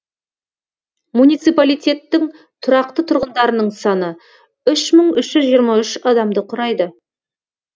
муниципалитеттің тұрақты тұрғындарының саны үш мың үш жүз жиырма үш адамды құрайды